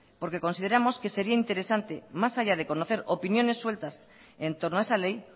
porque consideramos que sería interesante más allá de conocer opiniones sueltas entorno a esa ley